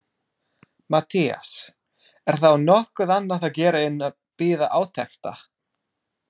MATTHÍAS: Er þá nokkuð annað að gera en bíða átekta.